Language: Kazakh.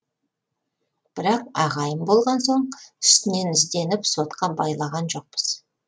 бірақ ағайын болған соң үстінен ізденіп сотқа байлаған жоқпыз